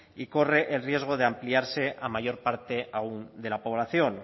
y corre el riesgo de ampliarse a mayor parte aún de la población